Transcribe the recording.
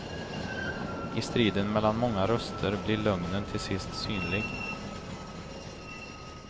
I striden mellan många röster blir lögnen till sist synlig.